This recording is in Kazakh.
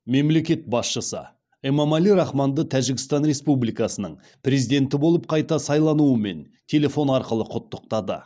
мемлекет басшысы эмомали рахмонды тәжікстан республикасының президенті болып қайта сайлануымен телефон арқылы құттықтады